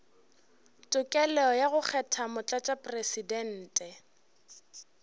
tokelo ya go kgetha motlatšamopresidente